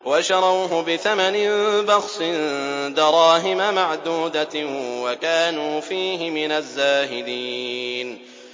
وَشَرَوْهُ بِثَمَنٍ بَخْسٍ دَرَاهِمَ مَعْدُودَةٍ وَكَانُوا فِيهِ مِنَ الزَّاهِدِينَ